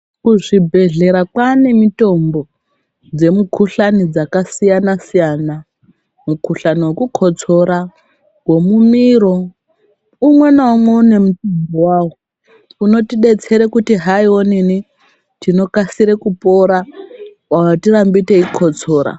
Kuzvibhehlera kwaane mitombo dzemukhuhlani dzakasiyanasiyana mukhuhlani wekukotsora ,wemumiro umwenaumwe une wawo unotidetsere kuti haiwonini tinokasire kupora atirambi teikotsora.